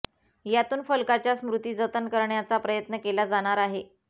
यातून फलकाच्या स्मृती जतन करण्याचा प्रयत्न केला जाणार आहे